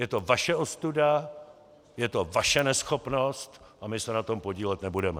Je to vaše ostuda, je to vaše neschopnost a my se na tom podílet nebudeme.